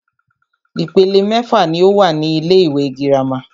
Ìpele mẹ́fà ní o wà ní ilé ìwé gírámà.